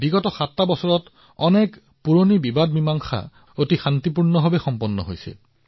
কেৱল এই ৭ বছৰত দেশৰ বহুতো পুৰণি বিবাদো সম্পূৰ্ণ শান্তি আৰু সম্প্ৰীতিৰে সমাধান কৰা হৈছে